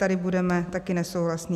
Tady budeme taky nesouhlasní.